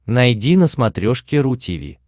найди на смотрешке ру ти ви